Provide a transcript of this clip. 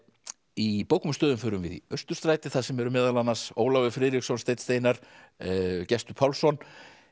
í bókum og stöðum förum við í Austurstræti þar sem eru meðal annars Ólafur Friðriksson Steinn Steinarr Gestur Pálsson